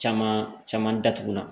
Caman caman datugulan